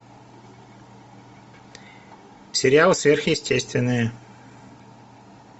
сериал сверхъестественное